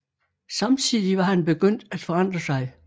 Samtidig var han begyndt at forandre sig